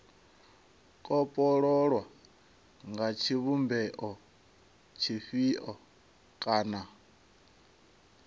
kopololwa nga tshivhumbeo tshifhio kana